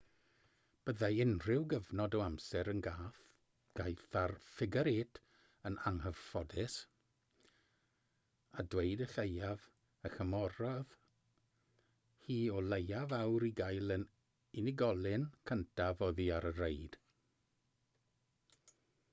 byddai unrhyw gyfnod o amser yn gaeth ar ffigar-êt yn anghyfforddus a dweud y lleiaf a chymerodd hi o leiaf awr i gael yr unigolyn cyntaf oddi ar y reid